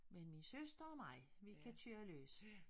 Men min søster og mig vi kan køre løs